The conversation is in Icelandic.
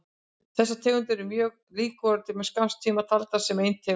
Þessar tegundir eru þó mjög líkar og voru til skamms tíma taldar sem ein tegund.